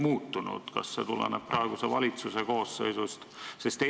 Kui jah, siis kas see tuleneb praeguse valitsuse koosseisust?